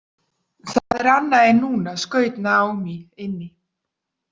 Það er annað en núna, skaut Naomi inn í.